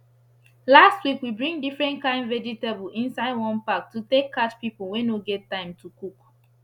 last week we bring different kain vegetable inside one pack to take catch pipu wey no get time to cook